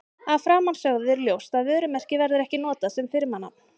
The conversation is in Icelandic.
Af framansögðu er ljóst að vörumerki verður ekki notað sem firmanafn.